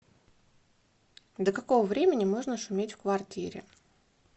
до какого времени можно шуметь в квартире